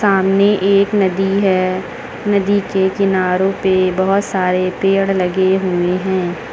सामने एक नदी है नदी के किनारों पे बहोत सारे पेड़ लगे हुए हैं।